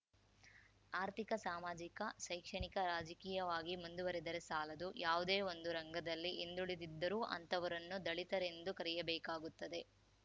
ಆರ್ಥಿಕ ಸಾಮಾಜಿಕ ಶೈಕ್ಷಣಿಕ ರಾಜಕೀಯವಾಗಿ ಮುಂದುವರಿದರೆ ಸಾಲದು ಯಾವುದೇ ಒಂದು ರಂಗದಲ್ಲಿ ಹಿಂದುಳಿದಿದ್ದರೂ ಅಂತಹವರನ್ನು ದಲಿತರೆಂದು ಕರೆಯಬೇಕಾಗುತ್ತದೆ